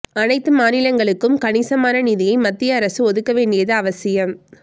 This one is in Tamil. அனைத்து மாநிலங்களுக்கும் கணிசமான நிதியை மத்திய அரசு ஒதுக்க வேண்டியது அவசியம்